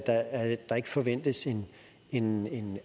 at der ikke forventes en